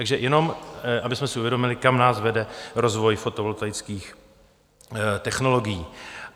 Takže jen abychom si uvědomili, kam nás vede rozvoj fotovoltaických technologií.